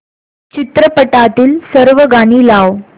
चित्रपटातील सर्व गाणी लाव